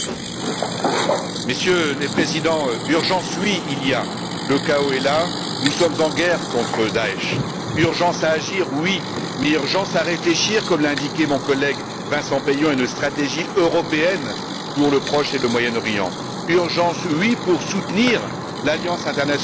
Monsieur le Président, Messieurs les Présidents, oui, il y a urgence, le chaos est là, nous sommes en guerre contre Da'ech. Urgence à agir, oui, mais urgence à réfléchir comme l'a indiqué mon collègue Vincent Peillon à une stratégie européenne pour le Proche et le Moyen Orient. Urgence, oui, pour soutenir l'alliance internationale qui s'est créée.